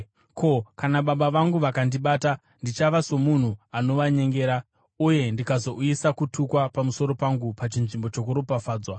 Ko, kana baba vangu vakandibata? Ndichava somunhu anovanyengera uye ndikazouyisa kutukwa pamusoro pangu pachinzvimbo chokuropafadzwa.”